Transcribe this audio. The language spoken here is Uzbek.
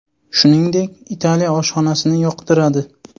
Shuningdek, Italiya oshxonasini yoqtiradi.